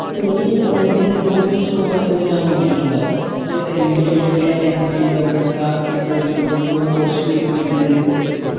നീ ഇതിന്റെ ജോലിസ്കോപ് എന്തെല്ലാനോക്കീട്ടുണ്ടോ? ഇത് എന്തെല്ലജോലിയാ ഇത്ചെയ്താകിട്ടാ ഏതെല്ലോം മ് പോസ്സിബിലിറ്റിഇതൊണ്ട്.